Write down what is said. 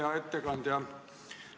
Hea ettekandja!